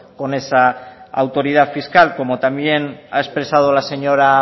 con esa autoridad fiscal como también ha expresado la señora